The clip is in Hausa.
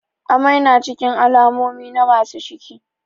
Amai na cikin alamomi na masu ciki